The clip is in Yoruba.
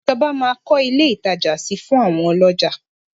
Ìjọba máa kọ́ ilé ìtajà si fún àwọn ọlọ́jà.